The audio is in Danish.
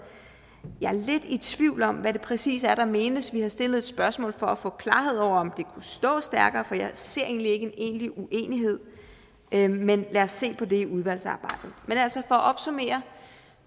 jeg er lidt i tvivl om hvad det præcis er der menes vi har stillet et spørgsmål for at få klarhed over om det kunne stå stærkere for jeg ser ikke en egentlig uenighed men men lad os se på det i udvalgsarbejdet men altså at opsummere